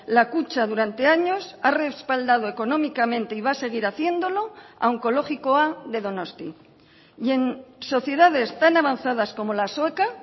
la kutxa durante años ha respaldado económicamente y va a seguir haciéndolo a onkologikoa de donosti y en sociedades tan avanzadas como la sueca